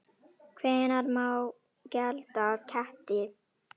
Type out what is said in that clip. Hvenær má gelda ketti?